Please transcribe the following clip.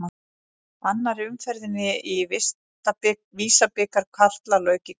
Annarri umferðinni í Visa-bikar karla lauk í kvöld.